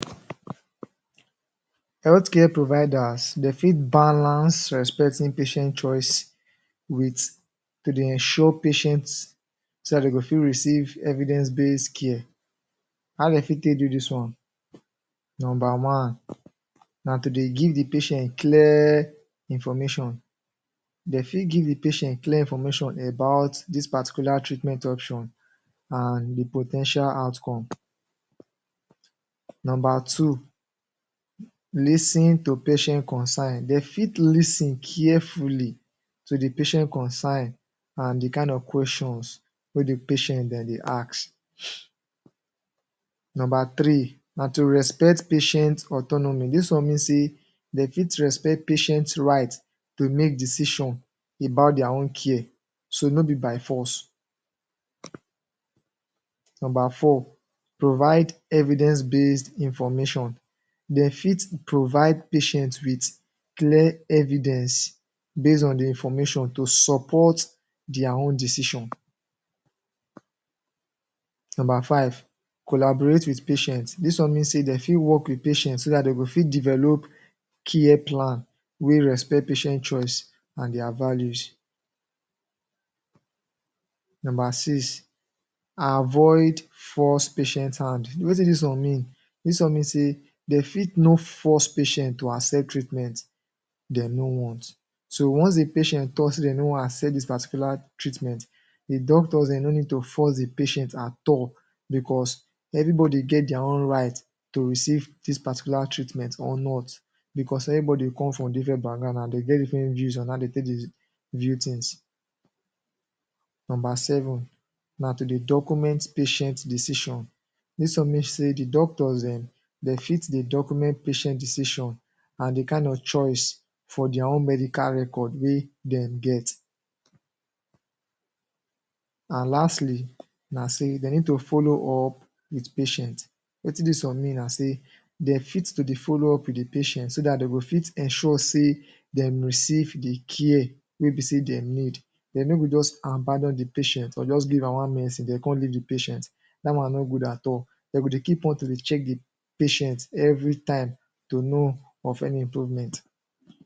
Health care providers, de fit balance respecting patient choice with to dey ensure patient so dat de go fit receive evidence based care. How de fit take do dis one? Nomba one na to dey give the patient clear information. De fit give the patient clear information about dis particular treatment option an the po ten tial outcome. Nomba two: Lis ten to patient concern De fit lis ten carefully to the patient concern an the kind of questions wey the patient de dey ask Nomba three na to respect patient autonomy. Dis one mean sey de fit respect patient right to make decision about dia own care, so no be by force. Nomba four: Provide evidence based information. De fit provide patient with clear evidence base on the information to support dia own decision. Nomba five: Collaborate with patient. Dis one mean sey de fit work with patient so dat de go fit develop care plan wey respect patient choice an dia values. Nomba six: Avoid force patient hand. Wetin dis one mean? Dis one mean sey de fit no force patient to accept treatment de no want. So once a patient talk sey de no wan accept dis particular treatment, the doctors, de no need to force the patient at all becos everybody get dia own right to receive dis particular treatment or not becos everybody come from different background an de get different views on how de take dey view tins. Nomba seven na to dey document patient decision. Dis one mean sey the doctors dem de fit dey document patient decision an the kain of choice for dia own medical record wey dem get. An lastly na sey de need to follow up with patient. Wetin dis one mean na sey de fit to dey follow up with the patient so dat de go fit ensure sey dem receive the care wey be sey dem need De no go juz abandon the patient or juz am one medicine de con leave the patient. Dat one no good at all. De go dey keep on to dey check the patient every time to know of any improvement.